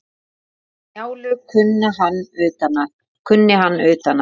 Njálu kunni hann utan að.